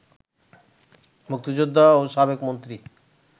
মুক্তিযোদ্ধা ও সাবেক মন্ত্রী